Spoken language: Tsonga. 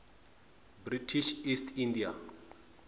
british east india